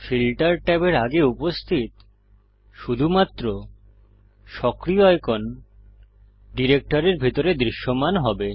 filter ট্যাবের আগে উপস্থিত শুধুমাত্র সক্রিয় আইকন ডিরেক্টরির ভিতরে দৃশ্যমান হবে